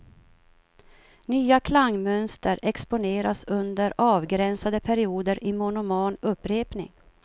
Nya klangmönster exponeras under avgränsade perioder i monoman upprepning.